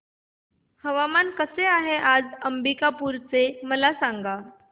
हवामान कसे आहे आज अंबिकापूर चे मला सांगा